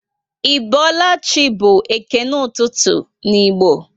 i boola chị by ekene ụtụtụ n'igbo